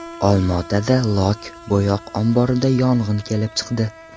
Olmaotada lok-bo‘yoq omborida yong‘in kelib chiqdi .